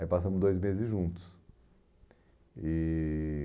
Aí passamos dois meses juntos. E